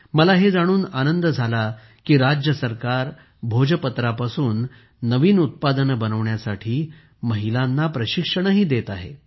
मला हे जाणून आनंद झाला की राज्य सरकार भोजपत्रापासून नवीन उत्पादने बनवण्यासाठी महिलांना प्रशिक्षणही देत आहे